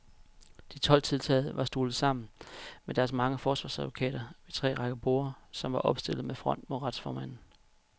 De tolv tiltalte var stuvet sammen med deres mange forsvarsadvokater ved tre rækker borde, som var opstillet med front mod retsformanden.